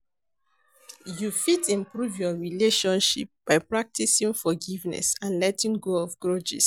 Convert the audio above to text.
You fit improve your relationship by practicing forgiveness and letting go of grudges.